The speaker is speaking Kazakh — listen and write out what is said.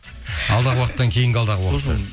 алдағы уақыттан кейінгі алдағы уақыт